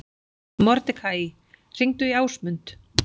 Mordekaí, hringdu í Ásmund.